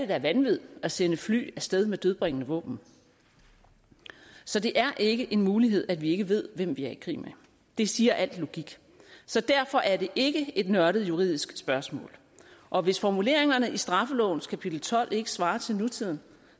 da vanvid at sende fly af sted med dødbringende våben så det er ikke en mulighed at vi ikke ved hvem vi er i krig med det siger al logik så derfor er det ikke et nørdet juridisk spørgsmål og hvis formuleringerne i straffelovens kapitel tolv ikke svarer til nutiden